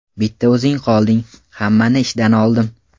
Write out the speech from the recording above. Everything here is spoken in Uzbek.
Bitta o‘zing qolding, hammani ishdan oldim.